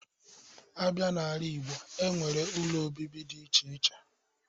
Abịa n'ala Igbo, e nwere ụlọ obibi dị iche iche.